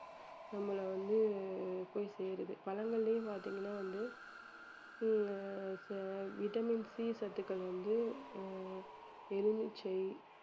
நம்மள வந்து போய் சேருது பழங்கள்லயும் பார்த்தீங்கன்னா வந்து vitamin C சத்துக்கள் வந்து ஆஹ் எலுமிச்சை